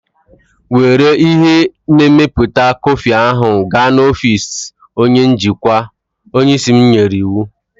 Were ihe na-emepụta kọfị ahụ gaa n'ọfịs onye njikwa! Onye isi m nyere iwu.